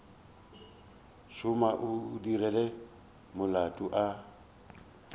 tšhuma o dirile molato a